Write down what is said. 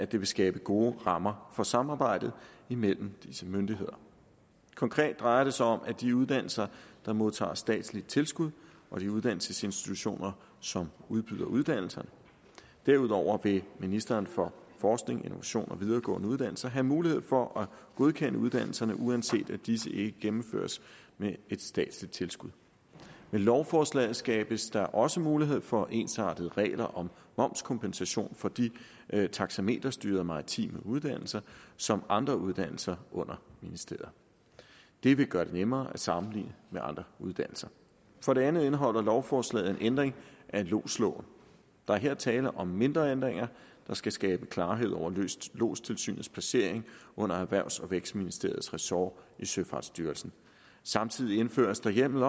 det vil skabe gode rammer for samarbejdet imellem disse myndigheder konkret drejer det sig om de uddannelser der modtager statsligt tilskud og de uddannelsesinstitutioner som udbyder uddannelser derudover vil ministeren for forskning innovation og videregående uddannelser have mulighed for at godkende uddannelserne uanset at disse ikke gennemføres med et statsligt tilskud med lovforslaget skabes der også mulighed for ensartede regler om momskompensation for de taksameterstyrede maritime uddannelser som andre uddannelser under ministeriet det vil gøre det nemmere at sammenligne med andre uddannelser for det andet indeholder lovforslaget en ændring af lodsloven der er her tale om mindre ændringer der skal skabe klarhed over lodstilsynets placering under erhvervs og vækstministeriets ressort i søfartsstyrelsen samtidig indføres der hjemmel